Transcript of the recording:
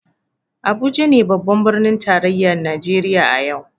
Abuja ne babban birnin tarayyar Najeriya a yau.